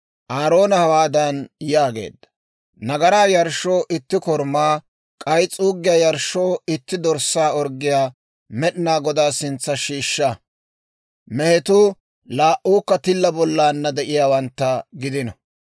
Aaroona hawaadan yaageedda; «Nagaraa yarshshoo itti korumaa, k'ay s'uuggiyaa yarshshoo itti dorssaa orggiyaa Med'inaa Godaa sintsa shiishsha. Mehetuu laa"uukka tilla bollaanna de'iyaawantta gidino.